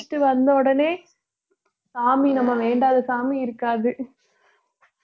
முடிச்சிட்டு வந்த உடனே சாமி நம்ம வேண்டாத சாமி இருக்காது